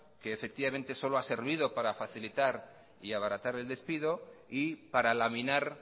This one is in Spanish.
que solo ha servido para facilitar y abaratar el despido y para laminar